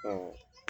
Ɔ